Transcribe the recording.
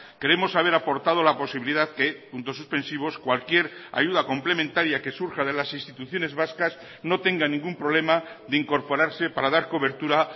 creemos haber aportado la posibilidad que puntos suspensivos cualquier ayuda complementaria que surja de las instituciones vascas no tengan ningún problema de incorporarse para dar cobertura